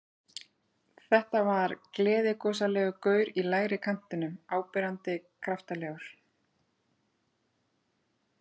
Þetta var gleiðgosalegur gaur í lægri kantinum, áberandi kraftalegur.